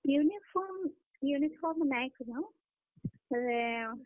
Uniform uniform ନାଇ କରୁଁ। ବେଲେ।